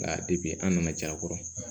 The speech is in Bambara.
Nka an nana caya a kɔrɔ